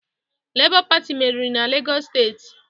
Lebọ Pati merịrị na Legọs steeti